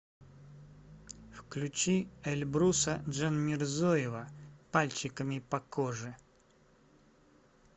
включи эльбруса джанмирзоева пальчиками по коже